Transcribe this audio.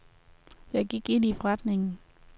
Jeg gik ind i forretningen.